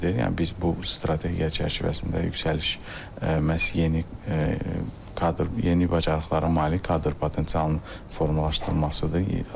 Yəni biz bu strategiya çərçivəsində yüksəliş məhz yeni kadr, yeni bacarıqları, malik kadr potensialının formalaşdırılmasıdır.